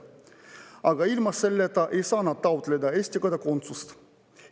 Aga ilma selleta ei saa nad taotleda Eesti kodakondsust.